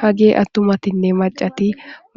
Hage attumatinne maccati